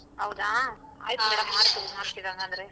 ಹೌದಾ ಮಾಡ್ತೀನಿ ಮಾಡ್ತೀನಿ ಹಂಗಾದ್ರೆ.